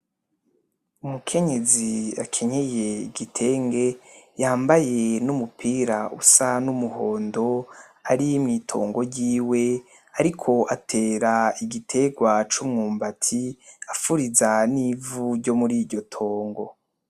Umukenyezi akenyeye igitenge, yambaye n'umupira usa n'umuhondo, hari mw'itongo yiwe ariko atera igiterwa c'umwubati afuriza n'ivu ryomuri iryo tongo.